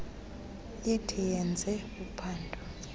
ithi yenze uphando